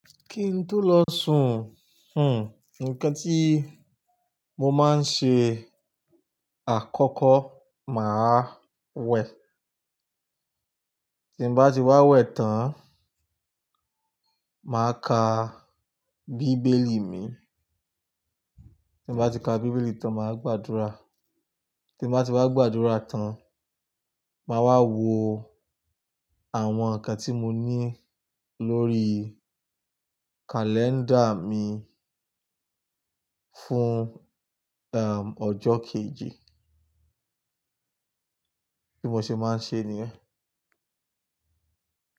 Kí n tó lọ sùn, hm, nnkan tí mo máa ń ṣe àkọ́kọ́ máa wẹ. Tí mo bá ti wá wẹ̀ tán, màá ka bíbélì mi. Tí mo bá ti ka bíbélì tán, màá gbàdúrà. Tí mo bá ti wá gbàdúrà tán, màá wá wo àwọn ǹkan tí mo ní lórí kàlẹ́ńdà mi fún, erm, ọjọ́ kejì. Kí mo ṣe máa ń ṣe nìyẹn.